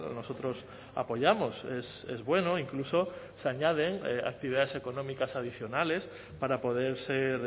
nosotros apoyamos es bueno incluso se añaden actividades económicas adicionales para poder ser